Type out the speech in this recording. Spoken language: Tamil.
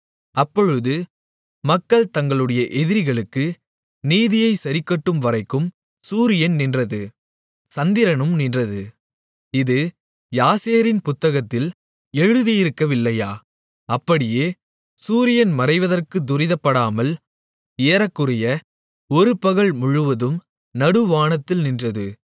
அப்பொழுது மக்கள் தங்களுடைய எதிரிகளுக்கு நீதியைச் சரிக்கட்டும்வரைக்கும் சூரியன் நின்றது சந்திரனும் நின்றது இது யாசேரின் புத்தகத்தில் எழுதியிருக்கவில்லையா அப்படியே சூரியன் மறைவதற்குத் துரிதப்படாமல் ஏறக்குறைய ஒருபகல் முழுவதும் நடுவானத்தில் நின்றது